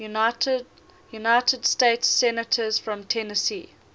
united states senators from tennessee